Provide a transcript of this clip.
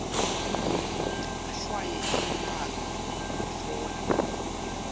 ahlwaye imibhalo kutfola